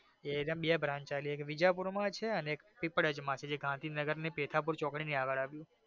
બે branch છે એક મિર્ઝાપુર માં છે અને એક પીપળેજ માં છે જે ગાંધીનગર ની પેથા પૂર ચોકડી ની આગળ આવ્યું છે.